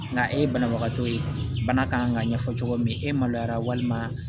Nka e ye banabagatɔ ye bana kan ka ɲɛfɔ cogo min e maloyara walima